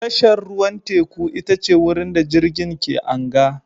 Tashar ruwan teku ita ce wurin da jirgin ke anga